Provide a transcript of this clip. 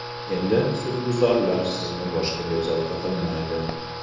Endi husnbuzarlar sizni boshqa bezovta qilmaydi.